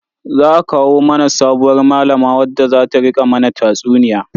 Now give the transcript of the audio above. Za a kawo mana sabuwar malama wadda zata rika mana tatsuniya.